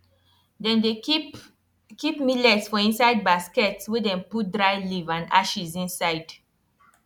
dem dey keep keep millet for inside basket wey dem put dry leaf and ashes inside